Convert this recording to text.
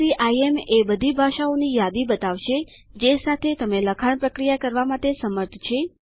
CIM એ બધી ભાષાઓ ની યાદી બતાવશે જે સાથે તે લખાણ પ્રક્રિયા કરવા માટે સમર્થ છે